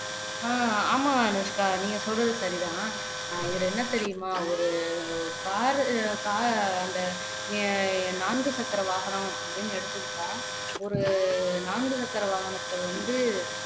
ஆஹ் ஆமா அனுஷ்கா நீங்க சொல்றது சரிதான் இதுல என்ன தெரியுமா ஒரு car car அந்த நான்கு சக்கர வாகனம் அப்படின்னு எடுத்துக்கிட்டா ஒரு நான்கு சக்கர வாகனத்தை வந்து